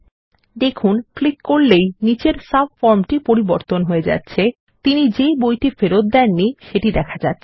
দেখুন ক্লিক করলেই নিচের সাব ফর্মটি পরিবর্তন হয়ে যাচ্ছে এবং তিনি যে বইটি ফেরত দেননি সেটিকে দেখা যাচ্ছে